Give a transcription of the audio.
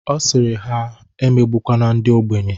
Ọ sịrị ha, ha emegbukwene ndi ogbenye.